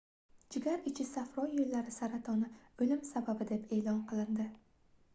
jigar ichi safro yoʻllari saratoni oʻlim sababi deb eʼlon qilindi